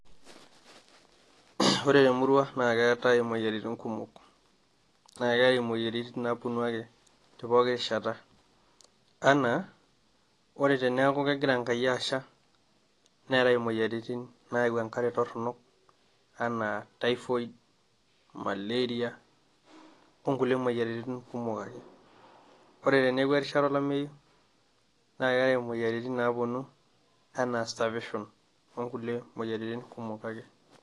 ore temurua naa keetae imoyiaritin kumok, naa keetae imoyiaritin naapuonu ake tepooki rishata, anaa Ore teneku kegira enkai asha, neetae imoyiaritin nayau enkare toronok Anaa typhoid, maleria ooh nkulie moyiaritin kumok ake. Ore teneeku erishata olameyu, naa keetae moyiaritin naapuonu anaa starvetion ooh nkulie moyiaritin kumok ake.